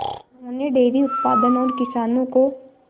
उन्होंने डेयरी उत्पादन और किसानों को